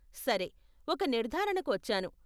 సరే, ఒక నిర్ధారణకు వచ్చాను.